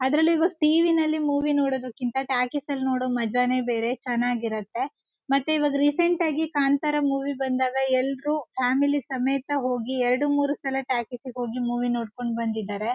ಅದರಲ್ಲಿ ಈಗ ಟಿವಿ ನಲ್ಲಿ ಮೂವಿ ನೋಡೋದಕ್ಕಿಂತ ಟಾಕೀಸ್ ನಲ್ ನೋಡೋ ಮಾಜಾ ನೇ ಬೇರೆ ಚೆನ್ನಾಗಿ ಇರುತ್ತೆ ಮತ್ತೆ ಈವಗ್ ರೀಸೆಂಟ್ ಆಗಿ ಕಾಂತಾರ ಮೂವಿ ಬಂದಾಗ ಎಲ್ರು ಫ್ಯಾಮಿಲಿ ಸಮೇತ ಹೋಗಿ ಎರಡು ಮೂರೂ ಸಲ ಟಾಕೀಸ್ ಗೆ ಹೋಗಿ ಮೂವಿ ನೋಡ್ಕೊಂಡು ಬಂದಿದ್ದಾರೆ .